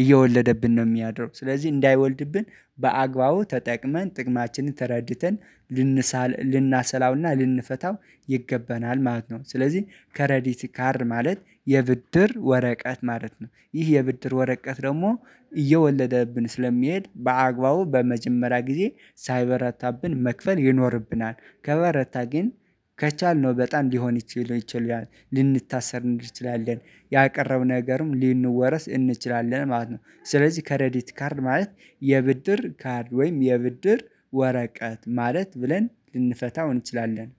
እየወለደብን ነው የሚያድረው ስለዚህ እንዳይወልድብን በአግባቡ ተጠቅመን ጥቅማችንን ተረድተን ልንሰላውና ልንፈታው ይገባናል ማለት ነው። ስለዚህ ከሬዲት ካርድ ማለት የብድር ወረቀት ማለት ነው። ይህ የብድር ወረቀት ደግሞ እየወለደብን ስለሚሄድ በአግባቡ በመጀመሪያ ጊዜ ሳይበረታብን መክፈል ይኖርብናል። ከበረታ ግን ከቻልነው በጣም ሊሆን ይችሉናል ልንታሰር እንችላለን። ያቀረብነው ነገርም ለሰንወረስ እንችላለን ማለት ነው። ስለዚህ ከሬዲት ካርድ ማለት የብድር ካርድ ወይም የብድር ወረቀት ማለት ብለን ልንፈታው እንችላለን